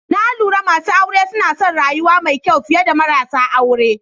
Na lura masu aure suna son rayuwa mai kyau fiye da marasa aure.